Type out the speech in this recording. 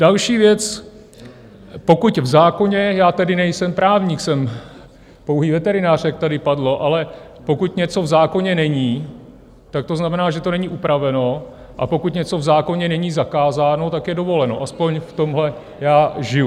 Další věc: pokud v zákoně - já tedy nejsem právník, jsem pouhý veterinář, jak tady padlo - ale pokud něco v zákoně není, tak to znamená, že to není upraveno, a pokud něco v zákoně není zakázáno, tak je dovoleno, aspoň v tomhle já žiju.